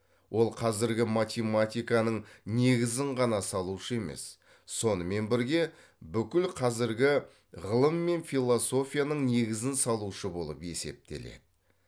ол қазіргі математиканың негізін ғана салушы емес сонымен бірге бүкіл қазіргі ғылым мен философияның негізін салушы болып есептеледі